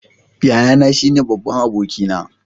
Yayana shine babban abokina.